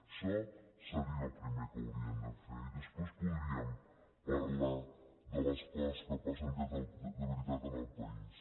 això seria el primer que hauríem de fer i després podríem parlar de les co·ses que passen de veritat en el país